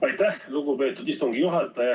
Aitäh, lugupeetud istungi juhataja!